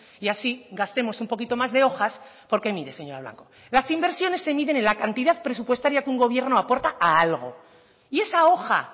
y así gastemos un poquito más de hojas porque mire señora blanco las inversiones se miden en la cantidad presupuestaria que un gobierno aporta a algo y esa hoja